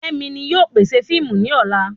Femi ni yóò pèsè fiimu ni ola